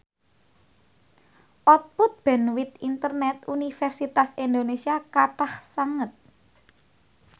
output bandwith internet Universitas Indonesia kathah sanget